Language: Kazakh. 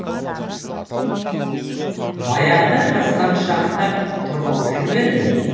баяғыда жасқаншақтап тұрмаушы ма еді